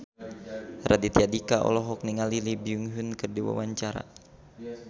Raditya Dika olohok ningali Lee Byung Hun keur diwawancara